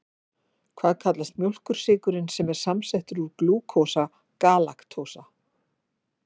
Hvað kallast mjólkursykurinn sem er samsettur úr glúkósa galaktósa?